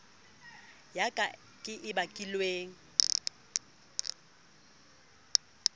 ya ka ke e bakilweng